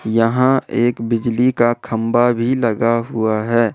यहां एक बिजली का खंभा भी लगा हुआ है।